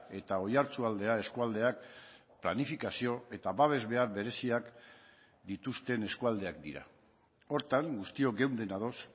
eta oiartzualdea eskualdeak planifikazio eta babes behar bereziak behar dituzten eskualdeak dira horretan guztiok geunden ados